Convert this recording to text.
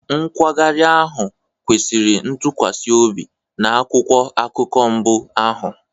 Nkwagharị ahụ kwesịrị ntụkwasị obi na akwụkwọ akụkọ mbụ ahụ.